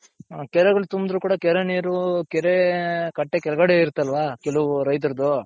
ಹ ಕೆರೆಗಳು ತುಂಬುದ್ರು ಕೂಡ ಕೆರೆ ನೀರು ಕೆರೆ ಕಟ್ಟೆ ಕೆಳಗಡೆ ಇರುತ್ತಲ್ವ ಕೆಲವು ರೈತರ್ದು.